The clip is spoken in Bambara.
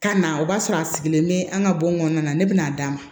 Ka na o b'a sɔrɔ a sigilen bɛ an ka bɔn kɔnɔna na ne bɛna'a d'a ma